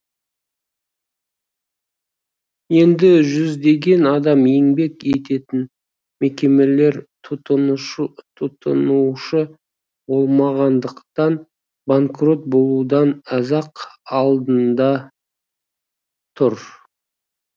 енді жүздеген адам еңбек ететін мекемелер тұтынушы болмағандықтан банкрот болудың аз ақ алдында тұр